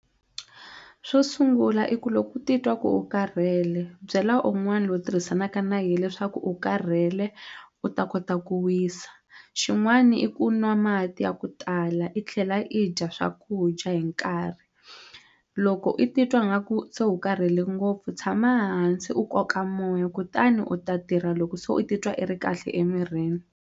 Swo sungula i ku loko u titwa ku u karhele byela un'wani loyi u tirhisanaka na yena leswaku u karhele u ta kota ku wisa xin'wani i ku nwa mati ya ku tala la i tlhela i dya swakudya hi nkarhi loko i titwa nga ku se u karhele ngopfu tshama hansi u koka moya kutani u ta tirha loko se u titwa i ri kahle emirhini.